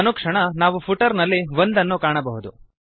ಅನುಕ್ಷಣ ನಾವು ಫುಟರ್ ನಲ್ಲಿ 1 ಅನ್ನು ಕಾಣಬಹುದು